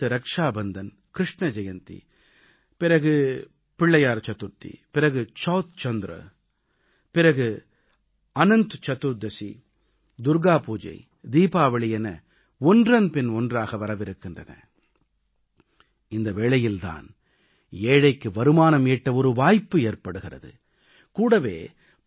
சில நாட்கள் கழித்து ரக்ஷாபந்தன் கிருஷ்ண ஜெயந்தி பிறகு பிள்ளையார் சதுர்த்தி பிறகு சவுத் சந்திர பிறகு அனந்த் சதுர்தசி துர்க்கா பூஜை தீபாவளி என ஒன்றன் பின் ஒன்றாக வரவிருக்கின்றன இந்த வேளையில் தான் ஏழைக்கு வருமானம் ஈட்ட ஒரு வாய்ப்பு ஏற்படுகிறது